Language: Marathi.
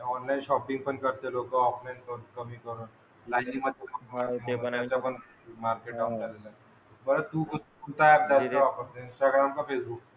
ऑनलाईन शॉपिंग पण करते लोकं ऑफलाईन कमी करून. लायनीमधे उभा राहायचा नाही पण मार्केट डाउन झालेलं आहे. बरं तू तू काय जास्त वापरते इंस्टाग्राम का फेसबुक?